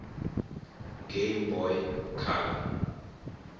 game boy color